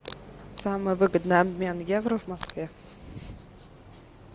самый выгодный обмен евро в москве